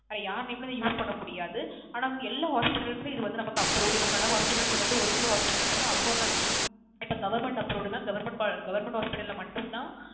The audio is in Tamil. அது வேற யார் Name ளையும் Use பண்ண முடியாது ஆனா இது வந்து எல்லா Hospitals லையுமே இது வந்து நமக்கு Approved இப்போ சில Hospitals வந்து ஒரு சில Hospitals ல அவங்க அவங்க இப்போ Government Approved ன Government Hospitals மட்டும் தான்